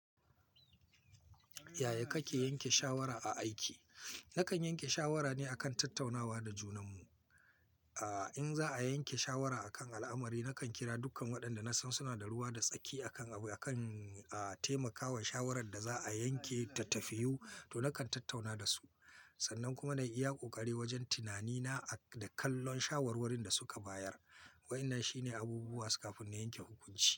Yaya kake yanke shawara a aiki? Nakan yanke shawara ne akan tattaunawa da junanmu. Aaa, in za a yanke shawara akan al'amari, nakan kira dukkan waɗanda nasan suna da ruwa da tsaki akan, akan, aaa, taimakawa shawarar da za'a yanke ta tafiyu, to nakan tattauna da su. Sannan kuma na iya ƙoƙari wajen tunanina da kallon shawarwarin da suka bayar. Waɗannan shine abubuwa su kafin na yanke hukunci.